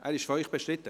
– Die Frage lautet: